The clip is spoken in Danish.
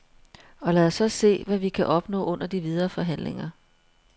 Og lad os så se, hvad vi kan opnå under de videre forhandlinger.